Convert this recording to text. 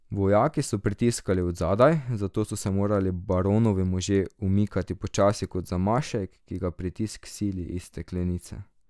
Vojaki so pritiskali od zadaj, zato so se morali baronovi možje umikati počasi kot zamašek, ki ga pritisk sili iz steklenice.